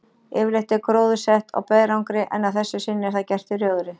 Yfirleitt er gróðursett á berangri, en að þessu sinni er það gert í rjóðri.